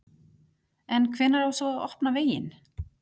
En hvenær á svo að opna veginn?